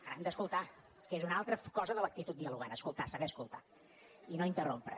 ara han d’escoltar que és una altra cosa de l’actitud dialogant escoltar saber escoltar i no interrompre